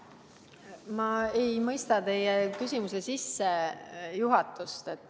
Ma ei mõista teie küsimuse sissejuhatust.